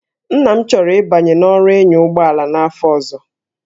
Nna m chọrọ ịbanye n'ọrụ ịnya ụgbọ ala n'afọ ọzọ